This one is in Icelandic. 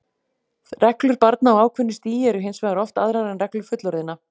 Reglur barna á ákveðnu stigi eru hins vegar oft aðrar en reglur fullorðinna.